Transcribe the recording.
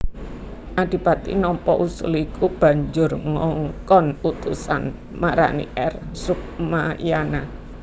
Adipati nampa usul iku banjur ngongkon utusan marani R Sukmayana